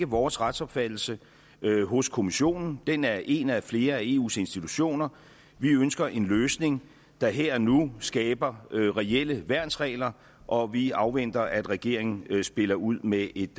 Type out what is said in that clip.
vores retsopfattelse hos kommissionen den er én af flere af eus institutioner vi ønsker en løsning der her og nu skaber reelle værnsregler og vi afventer at regeringen spiller ud med et